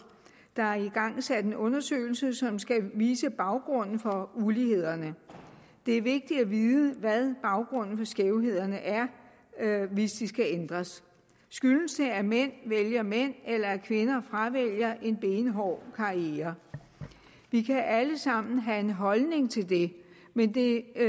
der er igangsat en undersøgelse som skal vise baggrunden for ulighederne det er vigtigt at vide hvad baggrunden for skævhederne er hvis de skal ændres skyldes det at mænd vælger mænd eller at kvinder fravælger en benhård karriere vi kan alle sammen have en holdning til det men det